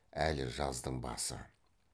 әлі жаздың басы